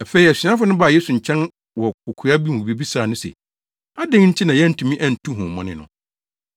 Afei asuafo no baa Yesu nkyɛn wɔ kokoa mu bebisaa no se, “Adɛn nti na yɛantumi antu honhommɔne no?”